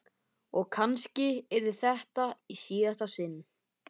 Og kannski yrði þetta í síðasta sinn.